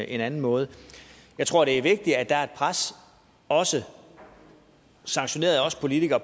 en anden måde jeg tror det er vigtigt at der er et pres også sanktioneret af os politikere